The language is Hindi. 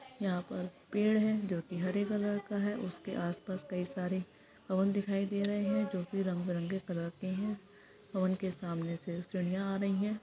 यहाँ पर पेड़ है जो की हरे कलर का है उसके आस - पास कई सारे ओवन दिखाई दे रहे है जो की रंग- बिरंगे कलर के है और उनके सामने से सीढ़ियां आ रही है।